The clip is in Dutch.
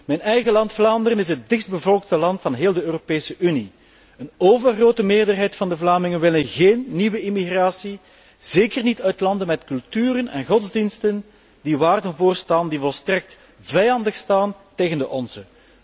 Mijn eigen land Vlaanderen is het dichtstbevolkte land van de hele Europese Unie. Een overgrote meerderheid van de Vlamingen wil geen nieuwe immigratie, zeker niet uit landen met culturen en godsdiensten die waarden voorstaan die volstrekt vijandig staan tegenover de onze.